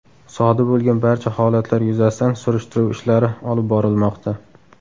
Sodir bo‘lgan barcha holatlar yuzasidan surishtiruv ishlari olib borilmoqda.